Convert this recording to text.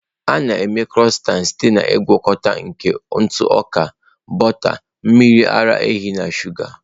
A na-eme Crọisantị site na ngwakọta nke ntụ ọka, bọta, mmiri ara ehi na shụga.